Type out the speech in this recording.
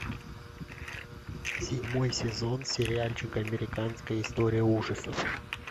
седьмой сезон сериальчик американская история ужасов